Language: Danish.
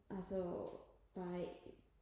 altså bare i